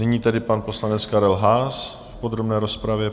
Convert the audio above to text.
Nyní tedy pan poslanec Karel Haas v podrobné rozpravě.